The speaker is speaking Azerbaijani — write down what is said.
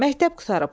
Məktəb qurtarıblar.